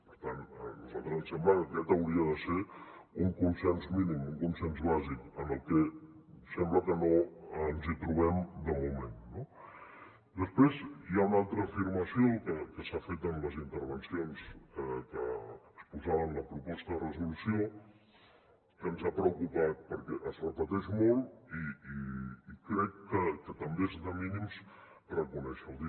per tant a nosaltres ens sembla que aquest hauria de ser un consens mínim un consens bàsic en el que sembla que no ens hi trobem de moment no després hi ha una altra afirmació que s’ha fet en les intervencions que exposaven a la proposta de resolució que ens ha preocupat perquè es repeteix molt i crec que també és de mínims reconèixer ho